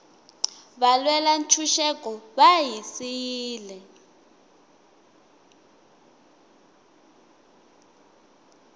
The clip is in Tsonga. valwela ntshuxeko va hi siyile